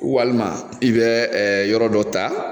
Walima i bɛ ɛ yɔrɔ dɔ ta